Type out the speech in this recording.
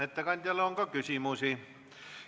Ettekandjale on ka küsimusi.